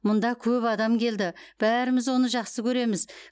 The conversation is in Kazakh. мұнда көп адам келді бәріміз оны жақсы көреміз